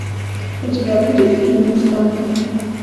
у тебя будет фильм мустанг